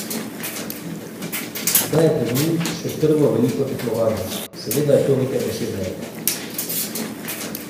Zdaj je pred njim še prvo veliko tekmovanje: "Seveda je to nekaj posebnega.